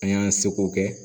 An y'an seko kɛ